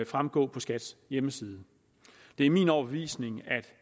fremgå af skats hjemmeside det er min overbevisning at